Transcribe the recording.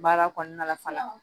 Baara kɔnɔna la fana